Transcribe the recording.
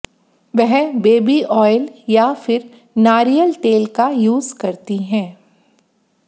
वह baby oil या फिर नारियल तेल का यूज करती हैं